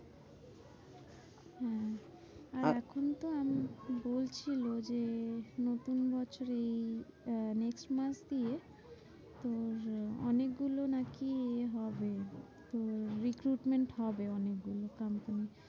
আর এখন তো আমি বলছিলে যে, নতুন বছর এই আহ next month দিয়ে তোর অনেকগুলো নাকি এ হবে তোর recruitment হবে অনেকগুলো company তে।